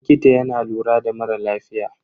Likita yana lura da mara lafiya.